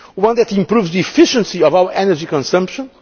one that improves the efficiency of our energy consumption